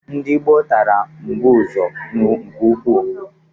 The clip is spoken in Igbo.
Ndị gboo tara mbụzọ nke ukwuu.